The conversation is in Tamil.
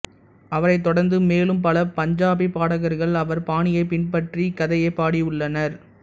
அவரைத் தொடர்ந்து மேலும் பல பஞ்சாபிப் பாடகர்கள் அவர் பாணியைப் பின்பற்றி இக்கதையைப் பாடியுள்ளனர்